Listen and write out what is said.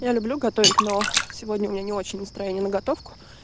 я люблю готовить но сегодня у меня не очень настроение на готовку